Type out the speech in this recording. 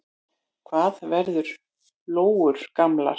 Hvað verða lóur gamlar?